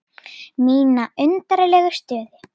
Mína undarlegu stöðu.